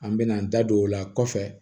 An bɛna an da don o la kɔfɛ